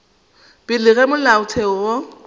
pele ga ge molaotheo wo